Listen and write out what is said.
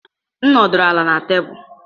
M nọdụrụ ala na tebụl.